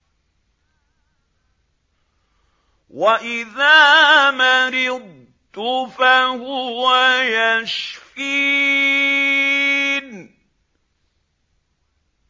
وَإِذَا مَرِضْتُ فَهُوَ يَشْفِينِ